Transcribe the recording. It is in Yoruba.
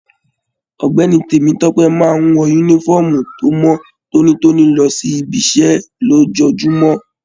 Ọ̀gbẹ́ni Temitope máa n wọ yúnífọ̀ọ́mù to mọ tónítóní lọ sí ìbi iṣẹ lójoojúmọ́.